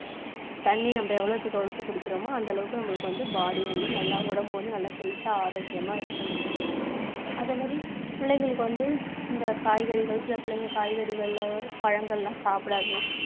தண்ணி நம்ம எவ்வளவுக்கு எவ்வளவு குடிக்கிறமோ அந்தளவுக்கு நம்மளுக்கு வந்து body வந்து நல்லா உடம்பு வந்து நல்லா health ஆ ஆரோக்கியமா இருக்கும் நம்மளுக்கு. அதே மாதிரி பிள்ளைங்களுக்கு வந்து இந்த காய்கறிகள், சில பிள்ளைங்க காய்கறிகள், பழங்கள் எல்லாம் சாப்பிடாதுங்க